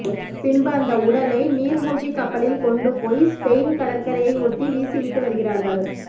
பின்பு அந்த உடலை நீர்மூழ்கி கப்பலில் கொண்டு போய் ஸ்பெயின் கடற்கரையை ஒட்டி வீசிவிட்டு வருகிறார்கள்